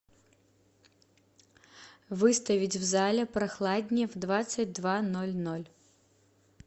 выставить в зале прохладнее в двадцать два ноль ноль